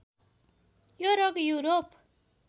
यो रोग युरोप